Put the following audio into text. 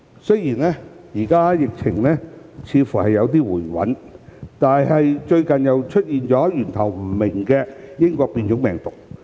雖然現時疫情似乎有所回穩，但最近又出現源頭不明的英國變種病毒。